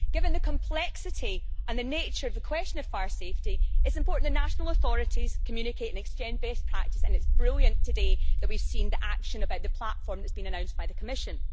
Given the complexity and the nature of the question of fire safety, it is important that national authorities communicate and exchange best practice and it is brilliant today that we have seen action about the platform that has been announced by the Commission.